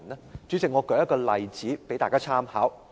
代理主席，我舉一個例子供大家參考。